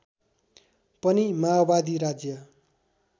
पनि माओवादी राज्य